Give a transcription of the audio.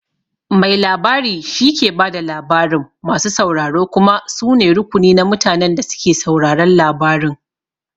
Mai labari shike ba da labarin, masu sauraro kuma su ne rukuni na mutanen da suke sauraron labarin.